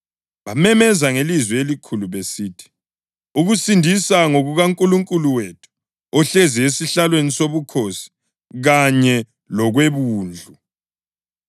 Bamemeza ngelizwi elikhulu besithi: “Ukusindisa ngokukaNkulunkulu wethu, ohlezi esihlalweni sobukhosi, kanye lokweWundlu.”